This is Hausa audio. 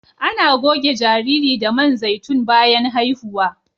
Ana goge jariri da man zaitun bayan haihuwa